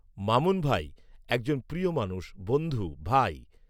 মামুন ভাই, একজন প্রিয় মানুষ, বন্ধু ভাই